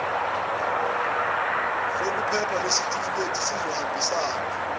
sokuphepha lesitifiketi sizohambisana